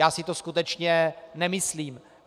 Já si to skutečně nemyslím.